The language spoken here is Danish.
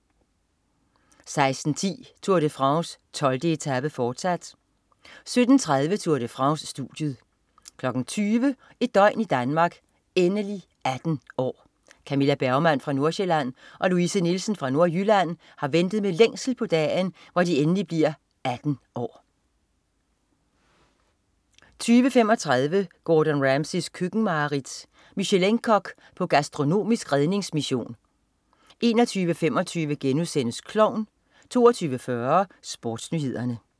16.10 Tour de France: 12. etape, fortsat 17.30 Tour de France. Studiet 20.00 Et døgn i Danmark: Endelig 18 år! Camilla Bergmann fra Nordsjælland og Louise Nielsen fra Nordjylland har ventet med længsel på dagen, hvor de endelig bliver 18 år 20.35 Gordon Ramsays køkkenmareridt. Michelin-kok på gastronomisk redningsmission 21.25 Klovn* 22.40 SportsNyhederne